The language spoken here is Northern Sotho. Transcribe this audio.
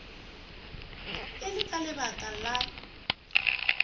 e le ka lebaka la